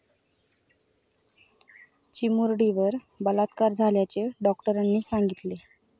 चिमुरडीवर बलात्कार झाल्याचे डॉक्टरांनी सांगितले.